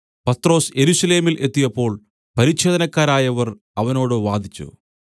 പത്രൊസ് യെരൂശലേമിൽ എത്തിയപ്പോൾ പരിച്ഛേദനക്കാരായവർ അവനോട് വാദിച്ചു